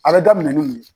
A bɛ daminɛ ni nin ye